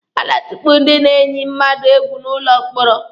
A na-atukpu ndị na-eyi mmadụ egwu n'ụlọ mkpọrọ.